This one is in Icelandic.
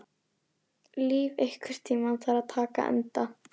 Líf, einhvern tímann þarf allt að taka enda.